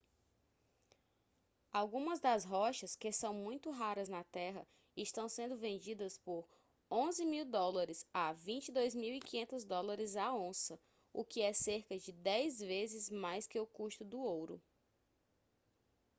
algumas das rochas que são muito raras na terra estão sendo vendidas por us$ 11.000 a us$ 22.500 a onça o que é cerca de 10 vezes mais que o custo do ouro